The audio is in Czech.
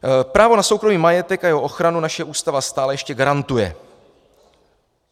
Právo na soukromý majetek a jeho ochranu naše Ústava stále ještě garantuje.